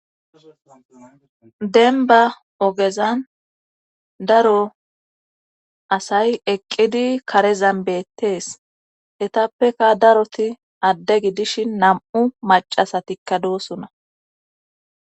Denba ogezan daro asay eqqidi karezan beettees etappeka daroti adde gi dishin nam'u macasatikka doosuna.